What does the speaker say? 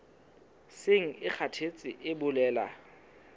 seng e kgathetse e bolela